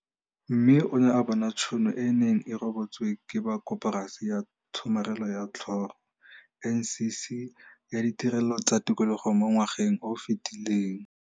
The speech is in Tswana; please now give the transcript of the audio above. Mme o ne a bona tšhono e e neng e rebotswe ke ba Koporasi ya Tshomarelo ya Tlhago, NCC, ya Ditirelo tsa Tikologo mo ngwageng o o fetileng.